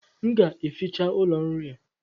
M ga-eficha ụlọ nri a